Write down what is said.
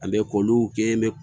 An bɛ koluw kɛ